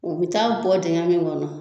U bɛ taa bɔ dingɛ min kɔnɔ